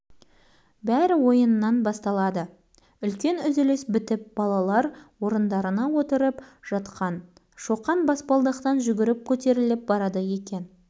қуаныш басып озған деген қуаныш елемеген тоқтамаған көрсетейін мен саған озғанды шоқанның сыры белгілі қуанышты қуып